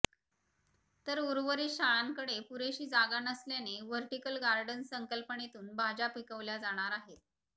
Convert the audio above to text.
तर उर्वरित शाळांकडे पुरेशी जागा नसल्याने व्हर्टिकल गार्डन संकल्पनेतून भाज्या पिकविल्या जाणार आहेत